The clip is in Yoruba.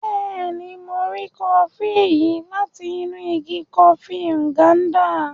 Béèni, Mo ri kọfi yìí láti inú ìgi kọfi Nganda